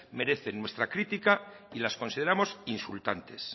merecen nuestra crítica y las consideramos insultantes